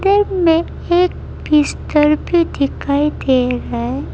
में एक बिस्तर भी दिखाई दे रहा है।